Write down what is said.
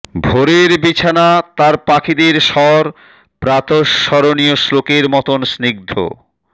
ভোরের বিছানা তার পাখিদের স্বর প্রাতঃস্মরণীয় শ্লোকের মতোন স্নিগ্ধ